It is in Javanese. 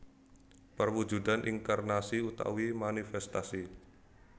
Perwujudan inkarnasi utawi manifestasi